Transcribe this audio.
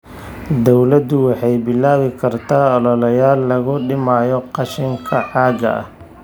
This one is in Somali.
Dawladdu waxay bilaabi kartaa ololeyaal lagu dhimayo qashinka caagga ah.